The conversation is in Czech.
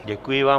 Děkuji vám.